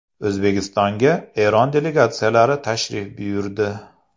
O‘zbekistonga Eron delegatsiyalari tashrif buyurdi.